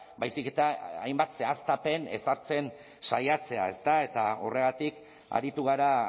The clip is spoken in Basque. baizik eta hainbat zehaztapen ezartzen saiatzea ezta horregatik aritu gara